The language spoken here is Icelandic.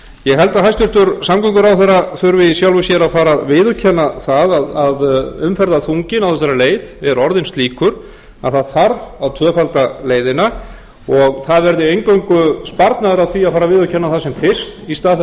ég held að hæstvirtur samgönguráðherra þurfi í sjálfu sér að fara að viðurkenna það að umferðarþunginn á þessari leið er orðin slíkur að það þarf að tvöfalda leiðina og það verði eingöngu sparnaður að því að fara að viðurkenna það sem fyrst í stað þess